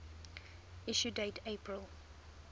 issue date april